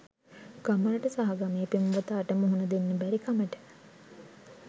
ගමට සහ ගමේ පෙම්වතාට මුහුණ දෙන්න බැරිකමට